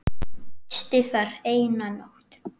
Gisti þar eina nótt.